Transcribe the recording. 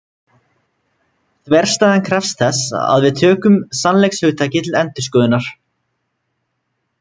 Þverstæðan krefst þess að við tökum sannleikshugtakið til endurskoðunar.